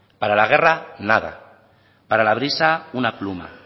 para la guerra nada para la brisa una pluma